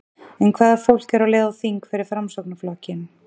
En hvaða fólk er á leið á þing fyrir Framsóknarflokkinn?